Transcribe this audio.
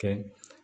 Kɛ